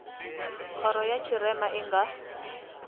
khoro ya tshirema i nga